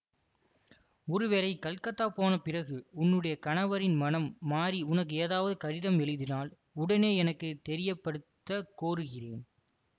ஒருவேளை கல்கத்தா போன பிறகு உன்னுடைய கணவரின் மனம் மாறி உனக்கு ஏதாவது கடிதம் எழுதினால் உடனே எனக்கு தெரியப்படுத்தக் கோருகிறேன்